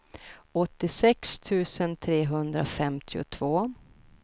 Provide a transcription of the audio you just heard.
åttiosex tusen trehundrafemtiotvå